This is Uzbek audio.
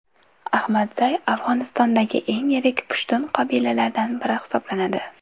Ahmadzay Afg‘onistondagi eng yirik pushtun qabilalaridan biri hisoblanadi.